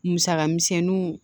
Musaka misɛnnuw